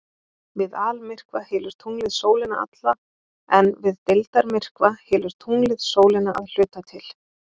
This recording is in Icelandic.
Við almyrkva hylur tunglið sólina alla en við deildarmyrkva hylur tunglið sólina að hluta til.